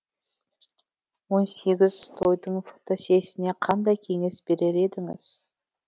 он сегіз тойдың фотосесіне қандай кеңес берер едіңіз